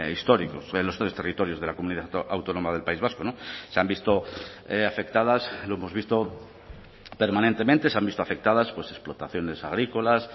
históricos en los tres territorios de la comunidad autónoma del país vasco se han visto afectadas lo hemos visto permanentemente se han visto afectadas explotaciones agrícolas